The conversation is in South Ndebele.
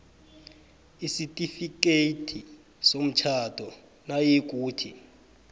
isitifikhethi somtjhado nayikuthi